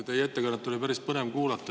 Teie ettekannet oli päris põnev kuulata.